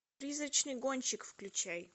призрачный гонщик включай